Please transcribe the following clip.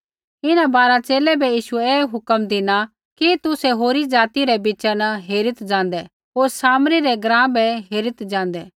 इन्हां बारा च़ेले बै यीशुऐ ऐ हुक्म धिना कि तुसै होरी ज़ाति रै बिच़ा न हेरीत् ज़ाँदै होर सामरी रै ग्राँ बै हेरीत् ज़ाँदै